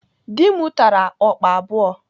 Dị m tara ọkpa abụọ.